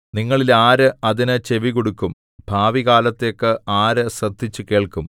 നിങ്ങളിൽ ആര് അതിന് ചെവികൊടുക്കും ഭാവികാലത്തേക്ക് ആര് ശ്രദ്ധിച്ചു കേൾക്കും